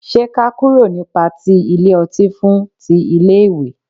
ṣe k'a kúrò ní pati ile ọti fún ti ile iwe